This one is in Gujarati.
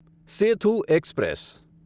સેથુ એક્સપ્રેસ